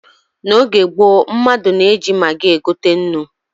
N'oge gboo, mmadụ na-eji magị egote nnu.